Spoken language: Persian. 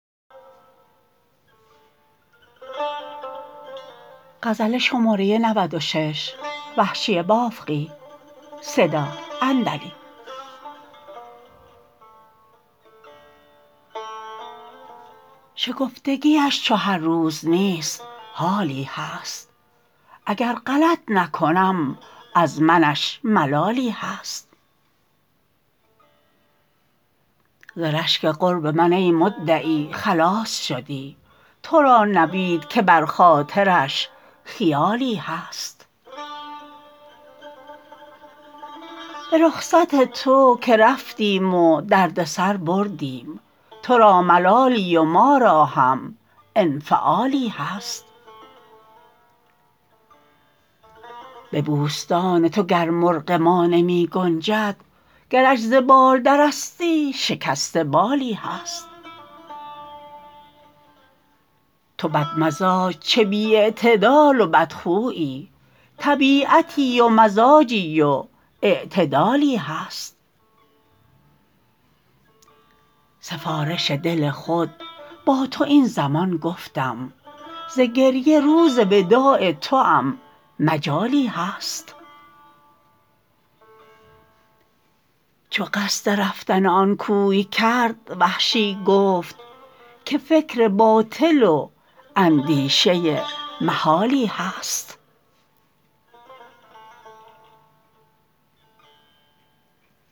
شکفتگیش چو هر روز نیست حالی هست اگر غلط نکنم از منش ملالی هست ز رشک قرب من ای مدعی خلاص شدی ترا نوید که بر خاطرش خیالی هست به رخصت تو که رفتیم و درد سر بردیم ترا ملالی و مارا هم انفعالی هست به بوستان تو گر مرغ ما نمی گنجد گرش ز بال درستی شکسته بالی هست تو بد مزاج چه بی اعتدال و بد خویی طبیعتی و مزاجی و اعتدالی هست سفارش دل خود با تو این زمان گفتم ز گریه روز وداع توام مجالی هست چو قصد رفتن آن کوی کرد وحشی گفت که فکر باطل و اندیشه محالی هست